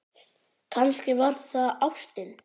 Kannski var það ástin.